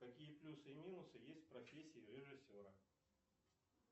какие плюсы и минусы есть в профессии режиссера